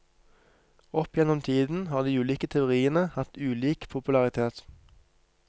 Opp gjennom tiden har de ulike teoriene hatt ulik popularitet.